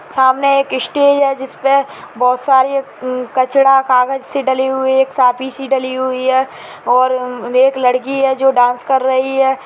सामने एक स्टेज है जिसपे बहुत सारे अ कचड़ा कागज सी डली हुई है एक साफी से डली हुई है और एक लड़की है जो डांस कर रही है।